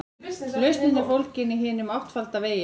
Lausnin er fólgin í hinum áttfalda vegi.